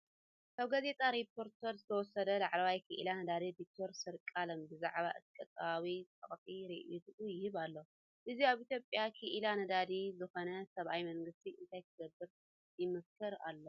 ካብ ጋዜጣ ሪፖርተር ዝተወስደ ላዕለዋይ ክኢላ ነዳዲ ዶክተር ሰርቃለም ብዛዕባ እቲ ቁጠባዊ ጸቕጢ ርእይቶኡ ይህብ ኣሎ። እዚ ኣብ ኢትዮጵያ ክኢላ ነዳዲ ዝኾነ ሰብኣይ መንግስቲ እንታይ ክገብር ይመክር ኣሎ?